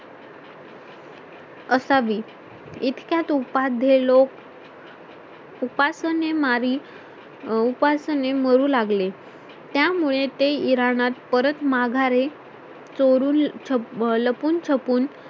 असावी इतक्यात उपाध्ये लोक उपासने मारी उपासाने मरु लागले त्यामुळे ते इरानात परत माघारे चोरून लपून छपून